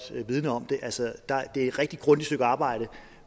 om det altså det er et rigtig grundigt stykke arbejde